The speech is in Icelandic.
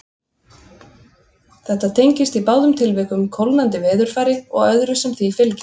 Þetta tengist í báðum tilvikum kólnandi veðurfari og öðru sem því fylgir.